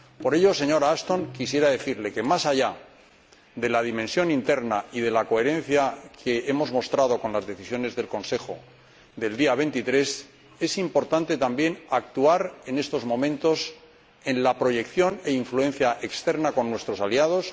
Por ello, señora Ashton, quisiera decirle que, más allá de la dimensión interna y de la coherencia que hemos mostrado con las decisiones del Consejo del día 23, es importante también actuar en estos momentos en la proyección e influencia externa con nuestros aliados.